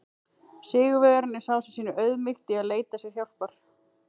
Sigurvegarinn er sá sem sýnir auðmýkt í að leita sér hjálpar!